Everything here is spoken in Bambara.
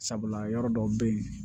Sabula yɔrɔ dɔw bɛ yen